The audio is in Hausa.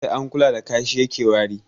Sai an kula da kashi yake wari